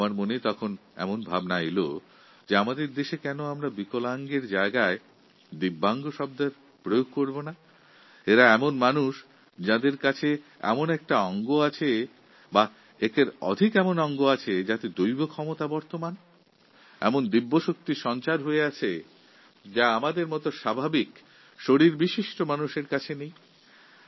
এই সব দেখে আমার মনে এক ভাবনা এসেছে যে আমাদের দেশে বিকলাঙ্গ শব্দের পরিবর্তে কেন দিব্যাঙ্গ শব্দের ব্যবহার করি না এঁরা সেই মানুষ যাঁদের এমন ধরনের এক বা একাধিক অঙ্গপ্রত্যঙ্গ আছে যার মধ্যে দৈবশক্তি আছে যা আমাদের মত সাধারণ মানুষের শরীরে নেই